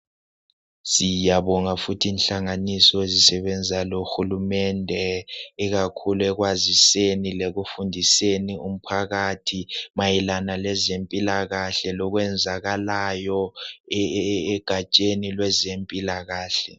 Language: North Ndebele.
Siyabonga futhi nhlanganiso ezisebenza lohulumende ikakhulu ekwaziseni lekufundiseni umphakathi mayelana lezempilakahle lokwenzakalayo eeegatsheni lwezempilakahle.